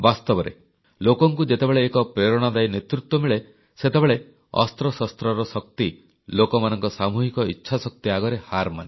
ବାସ୍ତବରେ ଲୋକଙ୍କୁ ଯେତେବେଳେ ଏକ ପ୍ରେରଣାଦାୟୀ ନେତୃତ୍ୱ ମିଳେ ସେତେବେଳେ ଅସ୍ତ୍ରଶସ୍ତ୍ରର ଶକ୍ତି ଲୋକମାନଙ୍କ ସାମୁହିକ ଇଚ୍ଛାଶକ୍ତି ଆଗରେ ହାରମାନେ